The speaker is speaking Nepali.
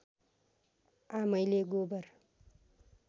आमैले गोबर